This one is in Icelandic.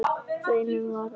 Raunin varð önnur.